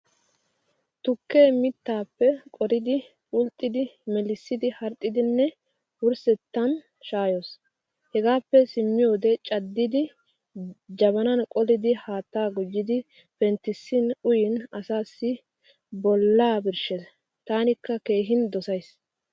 Tukkee mittaappe qoridi, bulxxidi, melissidi harxxidinne wurssettan shaayoos. Hegaappe simmiyoode caddidi, jabanan qolidi haattaa gujjidi penttissin uyin asaassi bolla birshshes tanikka keehin dosayis.